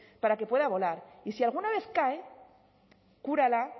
para que pueda volar y si alguna vez cae cúrala